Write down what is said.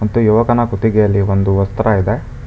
ತ್ತು ಯುವಕನ ಕುತಿಗೆಯಲ್ಲಿ ಒಂದು ವಸ್ತ್ರ ಇದೆ.